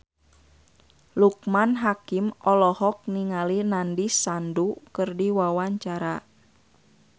Loekman Hakim olohok ningali Nandish Sandhu keur diwawancara